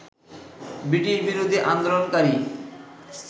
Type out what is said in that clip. ব্রিটিশবিরোধী আন্দোলনকারী